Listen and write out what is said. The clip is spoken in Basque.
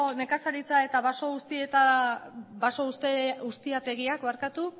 nekazaritza eta baso ustiategiak